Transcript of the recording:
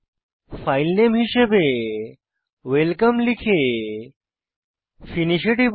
filename হিসাবে welcome লিখে finish এ টিপুন